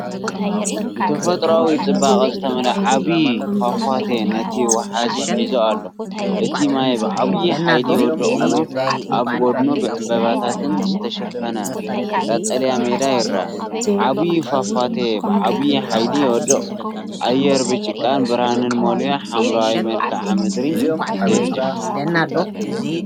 ብተፈጥሮኣዊ ጽባቐ ዝተመልአ ዓቢ ፏፏቴ ነቲ ወሓዚ ሒዙ ኣሎ። እቲ ማይ ብዓቢ ሓይሊ ይወድቕ እሞ ኣብ ጎድኑ ብዕምባባታት ዝተሸፈነ ቀጠልያ ሜዳ ይረአ። ዓቢ ፏፏቴ ብዓቢ ሓይሊ ይወድቕ፣ ኣየር ብጭቃን ብርሃንን መሊኡ ሓምላይ መልክዓ ምድሪ ይገድፍ።